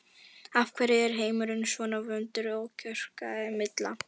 Af hverju er heimurinn svona vondur kjökraði Milla.